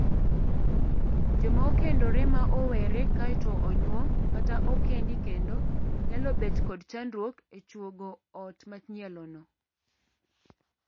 Joma okendore ma owere kaeto onyuom kata okendi kendo nyalo bet kod chandruok e chuongo ot manyielono.